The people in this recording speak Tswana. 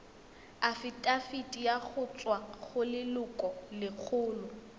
afitafiti go tswa go lelokolegolo